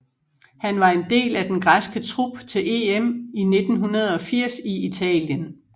Han var en del af den græske trup til EM i 1980 i Italien